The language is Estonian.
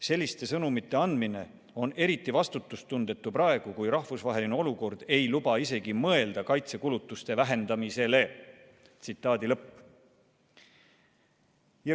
Selliste sõnumite andmine on eriti vastutustundetu praegu, kui rahvusvaheline olukord ei luba isegi mõelda kaitsekulutuste vähendamisele.